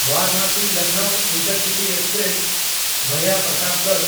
ᱵᱟᱨᱟᱱᱟᱥᱤ-ᱞᱚᱠᱷᱱᱚᱣ intercity express (ᱵᱷᱟᱭᱟ Pratapgarh)